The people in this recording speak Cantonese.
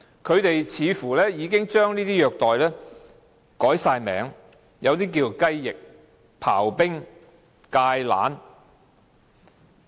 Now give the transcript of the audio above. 他們已經將這些虐待方式套以一些名稱，例如"雞翼"、"刨冰"、"芥蘭"。